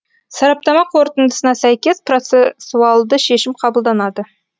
сараптама қорытындысына сәйкес процессуалды шешім қабылданады